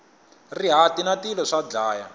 rihati na tilo swa dlaya